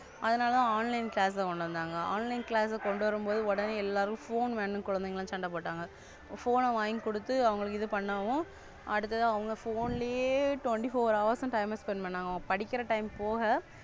அதனாலத Online class கொண்டுவந்தாங்க. Online class கொண்டு வரும்போது உடனே எல்லாரும் Phone வேனும்ன்னு குழந்தைகள் சண்டை போட்டாங்க, Phone வாங்கி குடுத்து அவங்களுக்கு பண்ணவும் அடுத்த அவங்க Phone லயே Twenty four hours time spend பண்ணுவாங்க படிக்கிற Time போக,